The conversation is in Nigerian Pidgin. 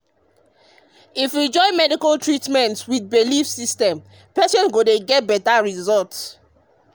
ah if we join medical treatment with belief systems patients go get better result.